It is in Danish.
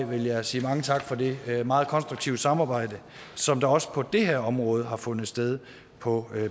vil jeg sige mange tak for det meget konstruktive samarbejde som også på det her område har fundet sted på